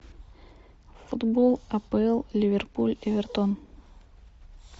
футбол апл ливерпуль эвертон